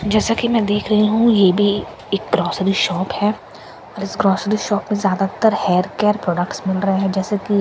जैसा की मैं देख रही हूँ यह भी एक ग्रोसरी शॉप है और इस ग्रोसरी शॉप में ज़्यादातर हेयर केयर प्रोडक्टस मिल रहे है जैसे की--